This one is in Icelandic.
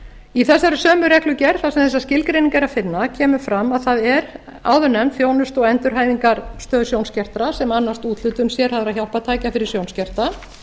í þessari sömu reglugerð þar sem þessa skilgreiningu er að finna kemur fram að það er áðurnefnd þjónustu og endurhæfingarstöð sjónskertra sem annast úthlutun sérhæfðra hjálpartækja fyrir sjónskerta